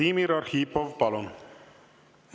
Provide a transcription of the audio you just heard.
Vladimir Arhipov, palun!